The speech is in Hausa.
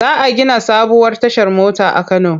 Za a gina sabuwar tashar mota a Kano.